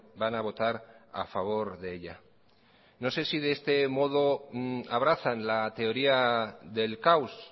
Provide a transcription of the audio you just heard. van a votar a favor de ella no sé si de este modo abrazan la teoría del caos